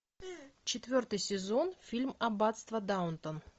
четвертый сезон фильм аббатство даунтон